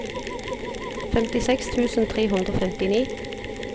femtiseks tusen tre hundre og femtini